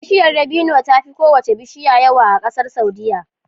Bishiyar dabino tafi kowace bishiya yawa a ƙasar saudia